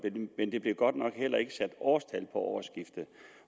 men der blev godt nok heller ikke sat årstal på årsskiftet